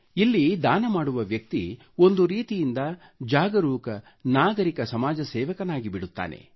ಇಲ್ಲಿ ದಾನ ಮಾಡುವ ವ್ಯಕ್ತಿ ಒಂದು ರೀತಿಯಿಂದ ಜಾಗರೂಕ ನಾಗರಿಕ ಸಮಾಜ ಸೇವಕನಾಗಿಬಿಡುತ್ತಾನೆ